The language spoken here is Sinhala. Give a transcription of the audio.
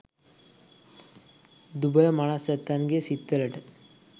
දුබල මනස් ඇත්තන්ගෙ සිත් වලට